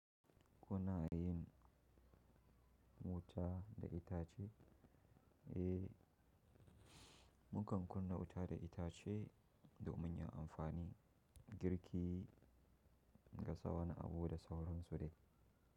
Kuna yin wuta da itace? Eh, mukan kunna wuta da itace domin ya amfani girki, gasa wani abu da sauran su dai.